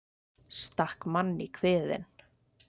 Stakk mann í kviðinn